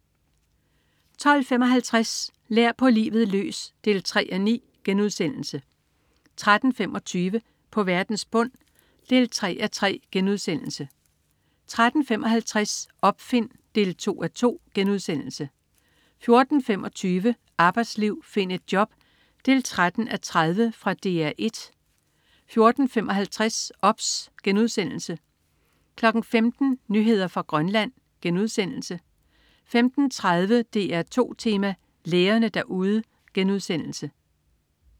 12.55 Lær på livet løs 3:9* 13.25 På verdens bund 3:3* 13.55 Opfind 2:2* 14.25 Arbejdsliv, find et job 13:30. Fra DR 1 14.55 OBS* 15.00 Nyheder fra Grønland* 15.30 DR2 Tema: Lægerne derude*